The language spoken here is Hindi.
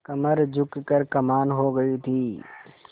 कमर झुक कर कमान हो गयी थी